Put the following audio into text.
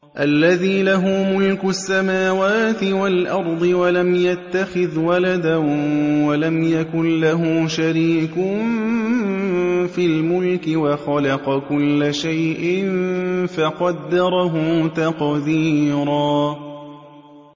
الَّذِي لَهُ مُلْكُ السَّمَاوَاتِ وَالْأَرْضِ وَلَمْ يَتَّخِذْ وَلَدًا وَلَمْ يَكُن لَّهُ شَرِيكٌ فِي الْمُلْكِ وَخَلَقَ كُلَّ شَيْءٍ فَقَدَّرَهُ تَقْدِيرًا